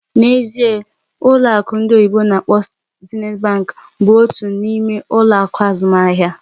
N'ezie!, ụlọ akụ ndị oyibo n'akpọ "Zenith Bank" bụ otu n'ime ụlọ akụ azụmaahịa